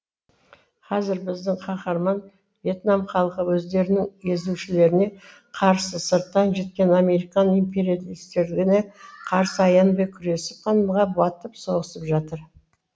қазір біздің қаһарман вьетнам халқы өздерінің езушілеріне қарсы сырттан жеткен американ империалистеріне қарсы аянбай күресіп қанға батып соғысып жатыр